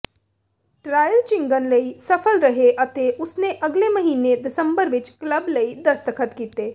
trial Jhingan ਲਈ ਸਫਲ ਰਹੇ ਅਤੇ ਉਸਨੇ ਅਗਲੇ ਮਹੀਨੇ ਦਸੰਬਰ ਵਿੱਚ ਕਲੱਬ ਲਈ ਦਸਤਖਤ ਕੀਤੇ